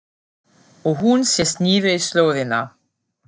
Og hún sest niður í slóðina.